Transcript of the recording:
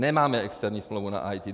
Nemáme externí smlouvu na IT.